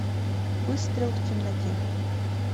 выстрел в темноте